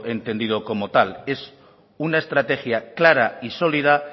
entendido como tal es una estrategia clara y sólida